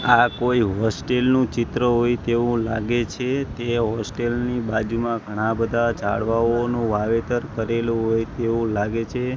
આ કોઈ હોસ્ટેલ નું ચિત્ર હોય તેવું લાગે છે તે હોસ્ટેલ ની બાજુમાં ઘણા બધા ઝાડવાઓનું વાવેતર કરેલું હોય તેવું લાગે છે.